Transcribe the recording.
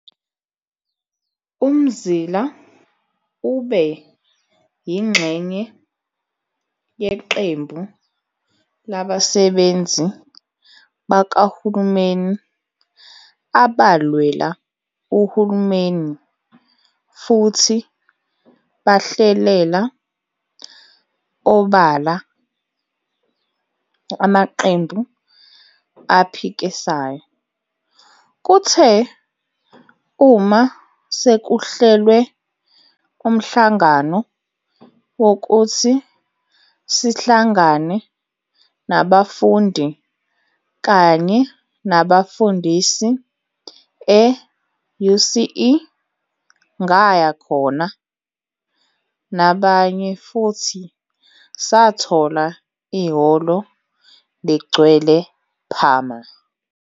UMzila ube yingxenye yeqembu labasebenzi bakahulumeni abalwela uhulumeni futhi bahlelela obala amaqembu aphikisayo. "Kuthe uma sekuhlelwe umhlangano wokuthi sihlangane nabafundi kanye nabafundisi e-UCE, ngaya khona nabanye futhi sathola ihholo ligcwele phama."